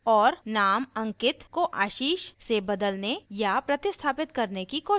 और name ankit को ashish से बदलने या प्रतिस्थापित करने की कोशिश करें